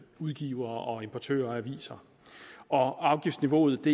udgivere og importører af aviser og afgiftsniveauet